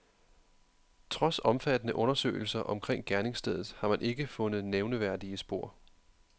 Trods omfattende undersøgelser omkring gerningsstedet har man ikke fundet nævneværdige spor.